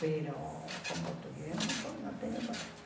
com português eu não tenho coragem.